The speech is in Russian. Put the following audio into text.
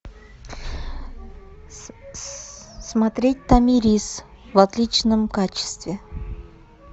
смотреть томирис в отличном качестве